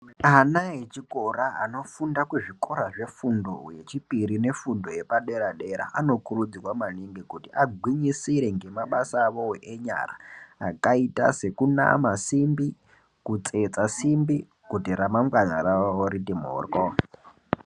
Ana echikora anofunda kuzvikora zvefundo yechipiri nefundo yepadera dera anokurudzirwa maningi kuti agwinyisire ngemabasa avowo enyara akaita sekunama simbi kutsetsa simbi kuti ramangwana ravo riti mhoryo.